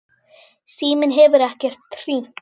Síminn hefur ekkert hringt.